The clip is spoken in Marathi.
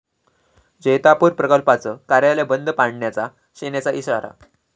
जैतापूर प्रकल्पाचं कार्यालय बंद पाडण्याचा सेनेचा इशारा